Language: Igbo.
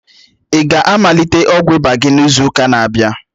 Ị ga-amalite ọgwụ ịba gị n'izu ụka na-abịa?